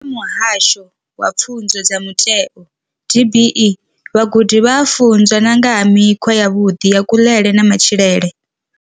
Vha Muhasho wa Pfunzo dza Mutheo DBE, vhagudi vha a funzwa na nga ha mikhwa yavhuḓi ya kuḽele na matshilele.